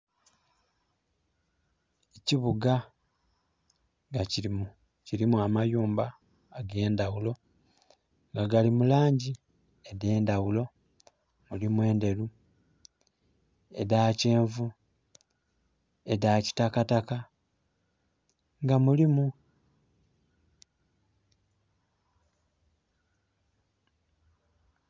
Ekibuga nga kirimu amayumba ag'endaghulo, nga gali mu langi edh'endhaghulo. Mulimu enderu, edha kyenvu, edha kitakataka, nga mulimu....